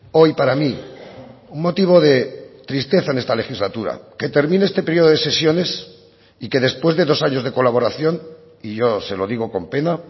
hoy para mí un motivo de tristeza en esta legislatura que termine este periodo de sesiones y que después de los años de colaboración y yo se lo digo con pena